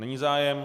Není zájem.